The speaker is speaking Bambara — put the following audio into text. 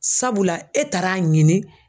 Sabula e taar'a ɲini